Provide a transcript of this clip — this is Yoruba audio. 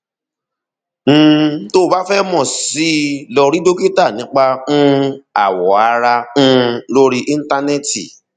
um tó o bá fẹ mọ sí i lọ rí dókítà nípa um awọ ara um lórí íńtánẹẹtì